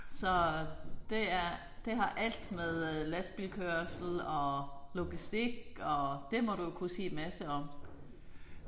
Så det er det har alt med lastbilkørsel og logistik og det må du jo kunne sige en masse om